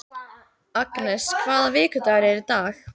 Agnes, hvaða vikudagur er í dag?